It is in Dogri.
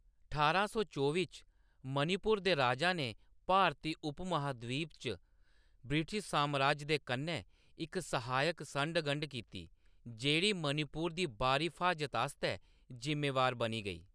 ठारां सौ चौबी च, मणिपुर दे राजा ने भारती उपमहाद्वीप च ब्रिटिश सामराज दे कन्नै इक सहायक संढ-गंढ कीती, जेह्‌‌ड़ी मणिपुर दी बाह्‌री फ्हाजत आस्तै ज़िम्मेवार बनी गेई।